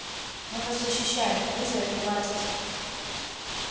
мы вас защищаем вы за это платите